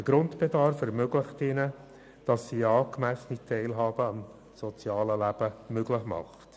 Der Grundbedarf ermöglicht es ihnen, in angemessener Weise am sozialen Leben teilzunehmen.